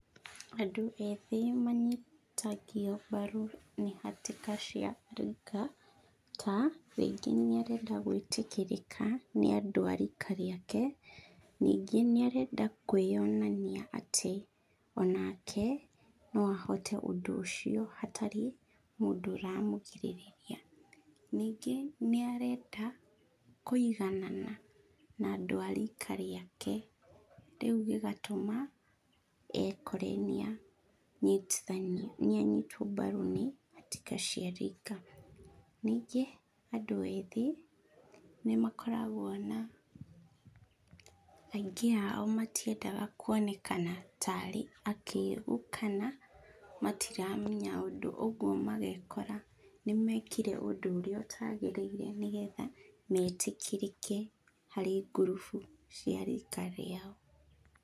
Andũ ethĩ manyitagio mbaru nĩ hatĩka cia rika ta; rĩngĩ nĩarenda gwĩtĩkĩrĩka nĩ andũ a rĩka rĩake, ningĩ nĩarenda kwĩyonania atĩ onake no ahote ũndũ ũcio hatarĩ mũndũ ũramũgirĩrĩria. Ningĩ nĩarenda kũiganana na andũ a rĩka rĩake rĩu gĩgatũma ekore nĩanyitithanio, nĩanyitwo mbaru nĩ hatĩka cia rika. Ningĩ andũ ethĩ nĩmakoragwo na, aingĩ ao matiendaga kũonekana tarĩ akĩgu kana matiramenya ũndũ ũguo, magekora nĩmekire ũndũ ũrĩa ũtagĩrĩire, nĩgetha metĩkĩrĩke harĩ ngurubu cia rika rĩao.